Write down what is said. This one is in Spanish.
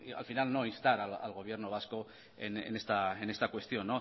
al final no instar al gobierno vasco en esta cuestión